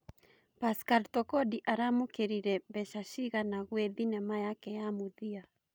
Pascal Tokodi aramũkĩrire mbeca cĩgana gwĩ thĩnema yake ya mũthia